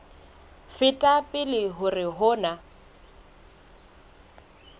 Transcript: feta pele hore ho na